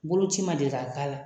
Boloci ma deli ka k'a la